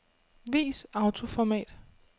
Vis autoformat.